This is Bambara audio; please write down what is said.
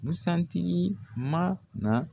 Busan tigi man na.